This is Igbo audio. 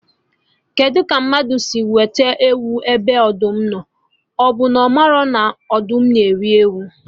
Kedụ ka mmadụ si wete ewu ebe ọdụm nọ, ọbụ na ọ marọ na ọdụm na eri ewu?